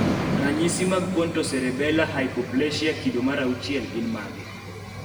ranyisi mag pontoserebela haipoplasia kido mar auchiel gin mage?